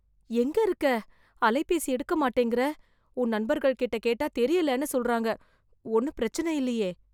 எங்க இருக்க? அலைபேசி எடுக்க மாட்டேங்குற? உன் நண்பர்கள்ட்ட கேட்டா தெரியலன்னு சொல்றாங்க? ஒண்ணும் பிரச்சனை இல்லியே?